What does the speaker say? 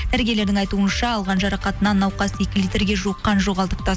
дәрігерлерлердің айтуынша алған жарақатынан науқас екі литрге жуық қан жоғалтыпты